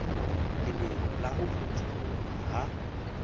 lebelo la ho potoloha ha